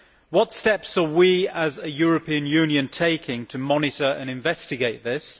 What steps are we, as a European Union, taking to monitor and investigate this?